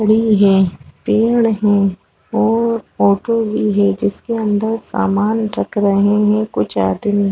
खड़ी है पेड़ है और ऑटो भी है जिसके अंदर सामान रख रहे है कुछ आदमी--